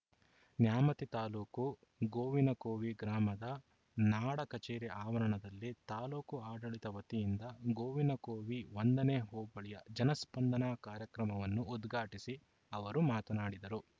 ನ್ಯಾಮತಿ ತಾಲೂಕು ಗೋವಿನಕೋವಿ ಗ್ರಾಮದ ನಾಡ ಕಚೇರಿ ಆವರಣದಲ್ಲಿ ತಾಲೂಕು ಆಡಳಿತ ವತಿಯಿಂದ ಗೋವಿನಕೋವಿ ಒಂದನೇ ಹೋಬಳಿಯ ಜನಸ್ಪಂದನ ಕಾರ್ಯಕ್ರಮವನ್ನು ಉದ್ಘಾಟಿಸಿ ಅವರು ಮಾತನಾಡಿದರು